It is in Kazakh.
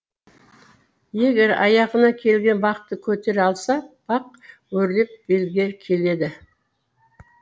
егер аяғына келген бақты көтере алса бақ өрлеп белге келеді